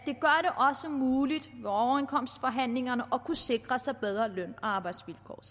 muligt i med overenskomstforhandlingerne at kunne sikre sig bedre løn og arbejdsvilkår og